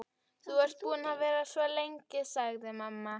Þú ert búin að vera svo lengi, sagði mamma.